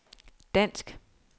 dansk